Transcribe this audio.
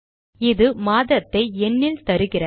இது மாதத்தை எண்ணில் தருகிறது